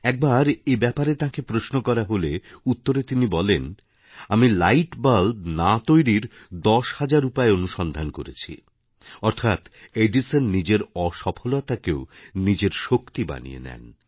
এক বার এ ব্যাপারে তাঁকে প্রশ্ন করা হলেউত্তরে তিনি বলেন আমি লাইট বালব না তৈরির দশ হাজার উপায় অনুসন্ধান করেছিঅর্থাৎ এডিসন নিজের অসফলতাকেও নিজের শক্তি বানিয়ে নেন